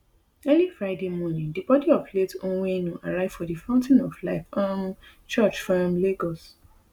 early friday morning di bodi of late onwenu arrive for di fountain of life um church for um lagos